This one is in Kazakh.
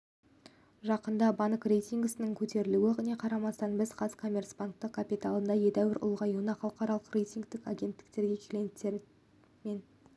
жақында банк рейтингісінің көтерілуіне қарамастан біз қазкоммерцбанк капиталының едәуір ұлғаюынан халықаралық рейтингтік агенттіктер клиенттер мен